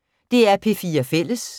DR P4 Fælles